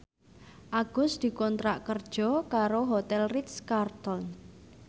Agus dikontrak kerja karo Hotel Ritz Carlton